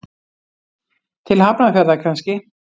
Til Hafnarfjarðar kannski.